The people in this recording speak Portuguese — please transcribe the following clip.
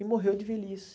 E morreu de velhice.